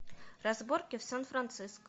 разборки в сан франциско